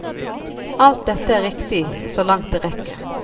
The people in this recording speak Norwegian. Alt dette er riktig så langt det rekker.